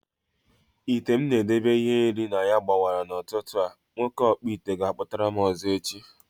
Ite m na edebe ihe nri na ya gbawara n'ụtụtụ a, nwoke ọkpụite ga akputaram ọzọ echi